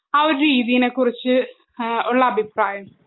ആ ഒരു രീതിനെ കുറിച്ച് ഏഹ് ഉള്ള അഭിപ്രായം?